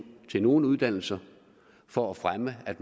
til nogle uddannelser for at fremme at